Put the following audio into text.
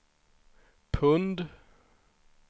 pund